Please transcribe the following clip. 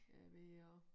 Ja er ved og